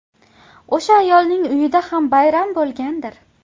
O‘sha ayolning uyida ham bayram bo‘lgandir.